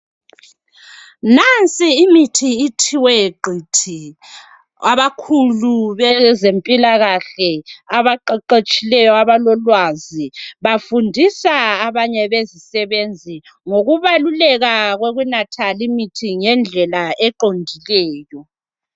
Nansi imithi ithiwe qithi abakhulu bezempilakahle abaqeqetshileyo abalolwazi bafundisa abanye bezisebenzi ngokubaluleka kokunatha limithi ngendlela eqondileyo